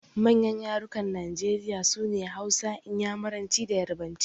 Manyan yarukan Najeriya sune Hausa, Inyamuranci da Yarabanci.